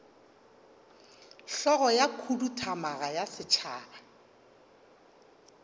hlogo ya khuduthamaga ya setšhaba